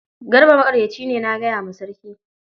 Garba maƙaryaci ne na gaya wa sarki.